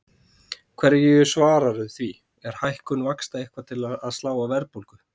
Hverju svararðu því, er hækkun vaxta eitthvað að slá á verðbólgu?